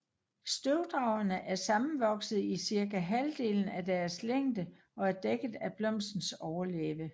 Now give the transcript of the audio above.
Støvdragerne er sammenvoksede i cirka halvdelen af deres længde og er dækket af blomstens overlæbe